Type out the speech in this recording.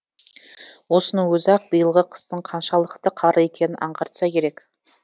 осының өзі ақ биылғы қыстың қаншалықты қарлы екенін аңғартса керек